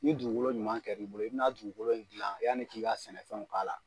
Ni dugukolo ɲuman kɛr'i bolo i bɛ na dugukolo in gilan yanni k'i ka sɛnɛfɛn k'a la.